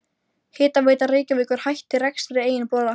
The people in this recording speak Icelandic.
Hitaveita Reykjavíkur hætti rekstri eigin bora.